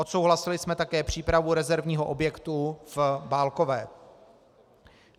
Odsouhlasili jsme také přípravu rezervního objektu v Bálkové.